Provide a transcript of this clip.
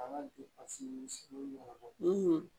A ka dusu bɔ